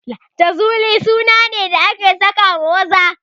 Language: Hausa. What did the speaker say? Jazuli suna ne da ake sakawa maza